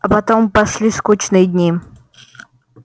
а потом пошли скучные дни